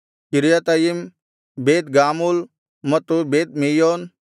Kiryat Yam Beit Gamul ಮತ್ತು Beit ಮೆಯೋನ್